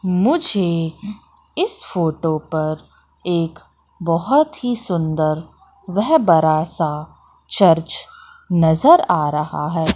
मुझे इस फोटो पर एक बहोत ही सुंदर वह बड़ा सा चर्च नजर आ रहा है।